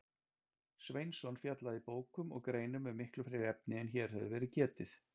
Sveinsson fjallaði í bókum og greinum um miklu fleiri efni en hér hefur verið getið.